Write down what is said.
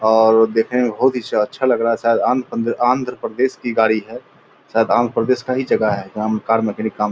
और देखने में बहुत हीं च अच्छा लग रहा है शायद आंध्रप्रदेश आंध्रप्रदेश की गाड़ी है शायद आंध्रप्रदेश की ही जगह है जहाँ कार मैकेनिक काम --